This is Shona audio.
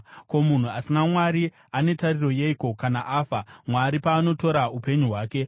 Ko, munhu asina Mwari ane tariro yeiko kana afa, Mwari paanotora upenyu hwake?